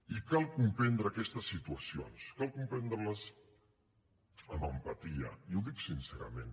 i cal comprendre aquestes situacions cal comprendre les amb empatia i ho dic sincerament